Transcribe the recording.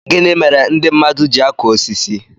Gịnị mere ndị mmadụ ji akụ osisi